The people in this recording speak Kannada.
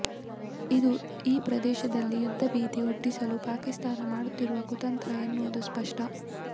ಇದು ಈ ಪ್ರದೇಶದಲ್ಲಿ ಯುದ್ಧ ಭೀತಿ ಹುಟ್ಟಿಸಲು ಪಾಕಿಸ್ಥಾನ ಮಾಡುತ್ತಿರುವ ಕುತಂತ್ರ ಎನ್ನುವುದು ಸ್ಪಷ್ಟ